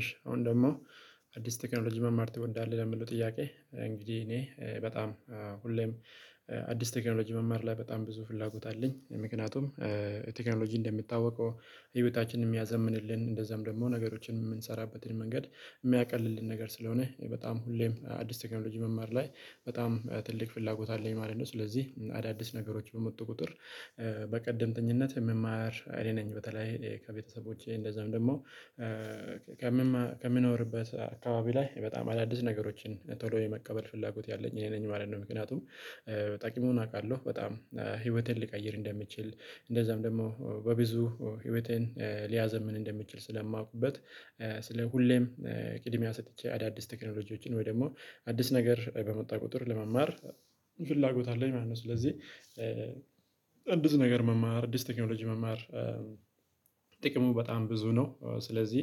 እሺ አሁን ደግሞ አዲስ ቴክኖሎጂ መማር ትወዳለ ለመለው ጥያቄ እንግዲህ እኔ በጣም ሁሌም አዲስ ቴክኖሎጂ መማር ላይ በጣም ብዙ ፍላጎት አለኝ። ምክንያቱም ቴክኖሎጂ እንደምታወቀው ህይወታችንን የሚያዘምንልን እንደዛም ደግሞ ነገሮችን የምንሰራበትን መንገድ የሚያቀልልን ነገር ስለሆነ በጣም ሁሌም አዲስ ቴክኖሎጂ መማር ላይ በጣም ትልቅ ፍላጎት አለኝ። ማለት ነው ስለዚህ አዳዲስ ነገሮች በመጡ ቁጥር በቀድምተኝነት መማር አይኔ ነኝ በተለይ ከቤተሰቦቼ እንደዛም ደግሞ ከምኖርበት አካባቢ ላይ በጣም አዳዲስ ነገሮችን ቶሎ የመቀበል ፍላጎት ያለኝ እኔ ነኝ ማለት ነው። ምክንያቱም ጠቂሙን አውቃለሁ በጣም ህይወቴን ሊቀይር እንደምችል እንደዛም ደግሞ በብዙ ህይወትን ሊያዘምን እንደምችል ስለማውቅበት ስለ ሁሌም ቅድሚያ ሰጥቼ አዳዲስ ቴክኖሎጂዎችን ወይ ደግሞ አዲስ ነገር በመጣ ቁጥር ለመማር ፍላጎት አለኝ ማለት ነው። ስለዚህ አዲስ ነገር መማር አዲስ ቴክኖሎጂ መማር ጥቅሙ በጣም ብዙ ነው። ስለዚህ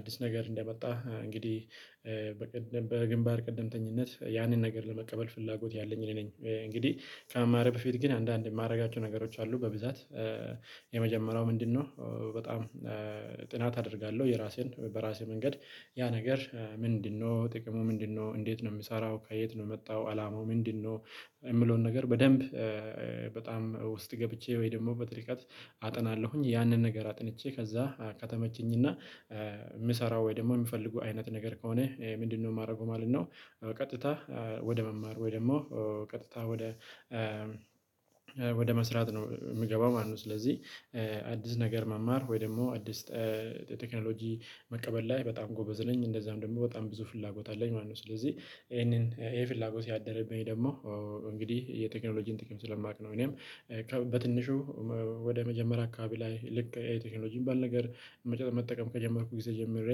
አዲስ ነገር እንደመጣህ እንግዲህ በግንባር ቅድምተኝነት ያንን ነገር ለመቀበል ፍላጎት ያለኝ እኔ ነኝ። እንግዲህ ከመማር በፊት ግን አንዳንዴ የማደርጋቸው ነገሮች አሉ በብዛት የመጀመሪያው ምንድነው? በጣም ጥናት አደርጋለሁ የራሴን በራሴ መንገድ ያ ነገር ምንድነው ጥቅሙ ምንድነው እንዴት ነው የምሰራው ከየት ነው የመጣው አላማው ምንድነው? የምለውን ነገር በደንብ በጣም ውስጥ ገብቼ ወይ ደግሞ በጥልቀት አጠናለሁኝ ያንን ነገር አጥንቼ ከዛ ከተመቸኝና የምሰራው ወይ ደግሞ የምፈልጉ አይነት ነገር ከሆነ ምንድነው የማደርገው ማለት ነው። ቀጥታ ወደ መማር ወይ ደግሞ ቀጥታ ወደ ወደ መስራት ነው የምገባው ማነው ስለዚህ አዲስ ነገር መማር ወይ ደግሞ አዲስ ቴክኖሎጂ መቀበል ላይ በጣም ጎበዝ ነኝ። እንደዛም ደግሞ በጣም ብዙ ፍላጎት አለኝ ማለት ነው ስለዚህ ይሄንን የፍላጎት ያደረብኝ ደግሞ እንግዲህ የቴክኖሎጂን ጥቂት ስለማውቅ ነው። እኔም በትንሹ ወደ መጀመሪያ አካባቢ ላይ ልክ የቴክኖሎጂን ባል ነገር መጨረሻ መጠቀም ከጀመርኩ ጊዜ ጀምሬ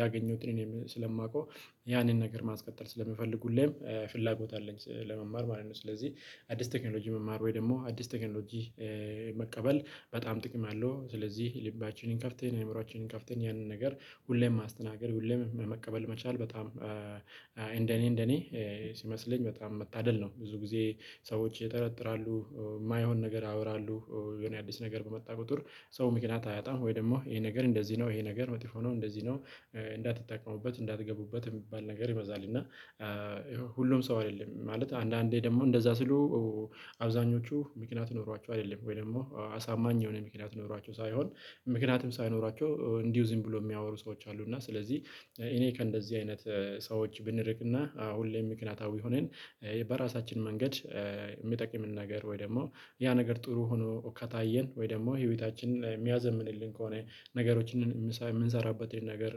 ያገኘሁትን እኔም ስለማውቀው ያንን ነገር ማስቀጠል ስለምፈልግ ሁሌም ፍላጎት አለኝ ለመማር ማለት ነው። ስለዚህ አዲስ ቴክኖሎጂ መማር ወይ ደግሞ አዲስ ቴክኖሎጂ መቀበል በጣም ጥቅም አለው ስለዚህ ልባችንን ከፍተን እምሮአችንን ከፍተን ያንን ነገር ሁሌም ማስተናገድ ሁሌም መቀበል መቻል በጣም እንደኔ እንደኔ ሲመስለኝ በጣም መታደል ነው። ብዙ ጊዜ ሰዎች ይጠረጥራሉ የማይሆን ነገር ያወራሉ የሆነ አዲስ ነገር በመጣ ቁጥር ሰው ምክንያት አያጣም ወይ ደግሞ ይሄ ነገር እንደዚህ ነው ይሄ ነገር መጥፎ ነው እንደዚህ ነው። እንዳትጠቀሙበት እንዳትገቡበት የሚባል ነገር ይበዛል። እና ሁሉም ሰው አይደለም ማለት አንዳንዴ ደግሞ እንደዛ ሲሉ አብዛኞቹ ምክንያት ኖሯቸው አይደለም ወይ ደግሞ አሳማኝ የሆነ ምክንያት ኖሯቸው ሳይሆን ምክንያቱም ሳይኖራቸው እንዲሁ ዝም ብሎ የሚያወሩ ሰዎች አሉ። እና ስለዚህ እኔ ከእንደዚህ አይነት ሰዎች ብንርቅና ሁሌም ምክንያታዊ ሆነን በራሳችን መንገድ የሚጠቅምን ነገር ወይ ደግሞ ያ ነገር ጥሩ ሆኖ ከታየን ወይ ደግሞ ህይወታችንን የሚያዘምንልን ከሆነ ነገሮችን የምንሰራበት ይሄን ነገር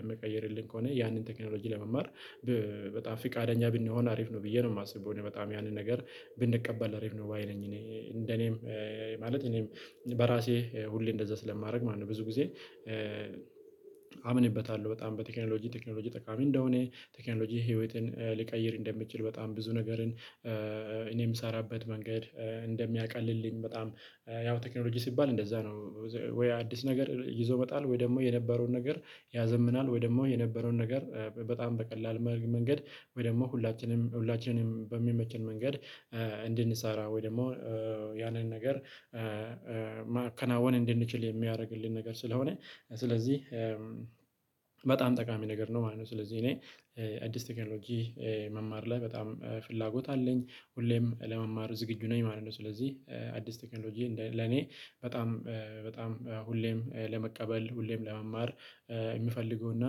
የሚቀይርልን ከሆነ ያንን ቴክኖሎጂ ለመማር በጣም ፍቃደኛ ብንሆን አሪፍ ነው። ብዬ ነው የማስበው በጣም ያንን ነገር ብንቀበል አሪፍ ነው ባይ ነኝ። እኔ እንደ እኔም ማለት እኔም በራሴ ሁሌ እንደዛ ስለማደርግ ማለት ነው። ብዙ ጊዜ አምንበታለሁ በጣም በቴክኖሎጂ ቴክኖሎጂ ጠቃሚ እንደሆነ ቴክኖሎጂ ህይወትን ሊቀይር እንደምትችል በጣም ብዙ ነገርን እኔ የምሰራበት መንገድ እንደሚያቀልልኝ በጣም ያው ቴክኖሎጂ ሲባል እንደዛ ነው። ወይ አዲስ ነገር ይዞ መጣል ወይ ደግሞ የነበረውን ነገር ያዘምናል ወይ ደግሞ የነበረውን ነገር በጣም በቀላል መንገድ ወይ ደግሞ ሁላችንም ሁላችንም በሚመችን መንገድ እንድንሰራ ወይ ደግሞ ያንን ነገር ማከናወን እንድንችል የሚያደርግልን ነገር ስለሆነ። ስለዚህ በጣም ጠቃሚ ነገር ነው ማለት ነው። ስለዚህ እኔ አዲስ ቴክኖሎጂ መማር ላይ በጣም ፍላጎት አለኝ ሁሌም ለመማር ዝግጁ ነኝ ማለት ነው። ስለዚህ አዲስ ቴክኖሎጂ ለኔ በጣም በጣም ሁሌም ለመቀበል ሁሌም ለመማር የምፈልገው እና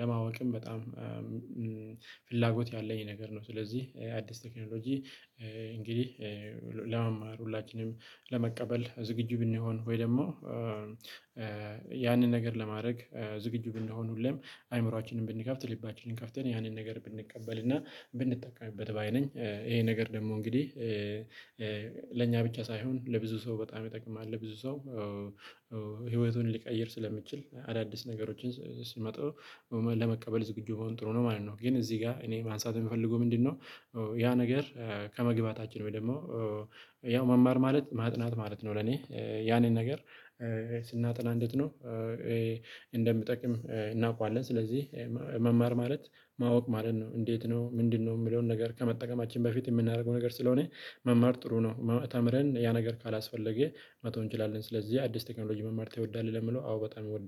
ለማወቅም በጣም ፍላጎት ያለኝ ነገር ነው። ስለዚህ አዲስ ቴክኖሎጂ እንግዲህ ለመማር ሁላችንም ለመቀበል ዝግጁ ብንሆን ወይ ደግሞ ያንን ነገር ለማድረግ ዝግጁ ብንሆን ሁሌም አይምሮአችንን ብንከፍት ልባችንን ከፍተን ያንን ነገር ብንቀበል እና ብንጠቀምበት ባይ ነኝ። ይሄ ነገር ደግሞ እንግዲህ ለእኛ ብቻ ሳይሆን ለብዙ ሰው በጣም ይጠቅማል ለብዙ ሰው ሊቀይር ስለሚችል አዳዲስ ነገሮችን ሲመጡ ለመቀበል ዝግጁመሆን ጥሩ ነው ማለት ነው። ግን እዚህ ጋር እኔ ማንሳት የምፈልገው ምንድነው? ያ ነገር ከመግባታችን ወይ ደግሞ ያው መማር ማለት ማጥናት ማለት ነው። ለኔ ያንን ነገር ስናጠና እንዴት ነው? እንደሚጠቅም እናውቃለን ስለዚህ መማር ማለት ማወቅ ማለት ነው። እንዴት ነው ምንድነው የምለውን ነገር ከመጠቀማችን በፊት የምናደርገው ነገር ስለሆነ መማር ጥሩ ነው። ተምረን ያ ነገር ካላስፈለገ መተው እንችላለን። ስለዚህ አዲስ ቴክኖሎጂ መማር ትወዳለህ? ለምለው አዎ በጣም እወዳለሁ